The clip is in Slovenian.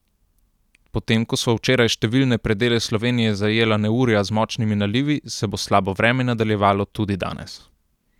Potem ko so včeraj številne predele Slovenije zajela neurja z močnimi nalivi, se bo slabo vreme nadaljevalo tudi danes.